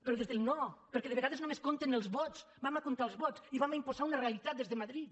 però des del no perquè de vegades només compten els vots comptem els vots i imposem una realitat des de madrid